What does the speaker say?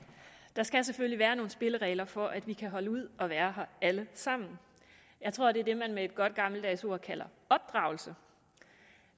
der skal selvfølgelig være nogle spilleregler for at vi kan holde ud at være her alle sammen jeg tror det er det man med et godt gammeldags ord kalder opdragelse